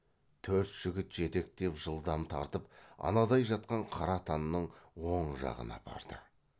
төрт жігіт жетектеп жылдам тартып анадай жатқан қара атанның оң жағына апарды